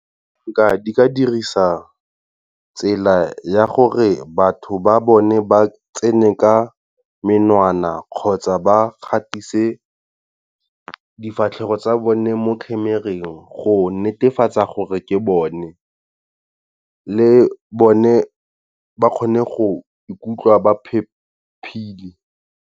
Di ka dirisa tsela ya gore batho ba bone ba tsene ka menwana kgotsa ba gatise difatlhego tsa bone mo camera-eng, go netefatsa gore ke bone le bone ba kgone go ikutlwa ba phepile.